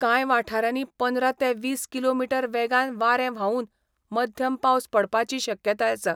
कांय वाठारांनी पंदरा ते वीस किलो मिटर वेगान वारें व्हांवून मध्यम पावस पडपाची शक्यताय आसा.